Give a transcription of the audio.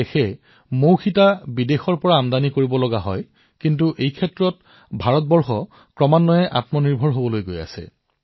আমাৰ দেশখনে অৱশ্যে মৌ মম আমদানি কৰে কিন্তু আমাৰ কৃষকসকলে এতিয়া এই পৰিস্থিতিৰ দ্ৰুতগতিত পৰিৱৰ্তন কৰিছে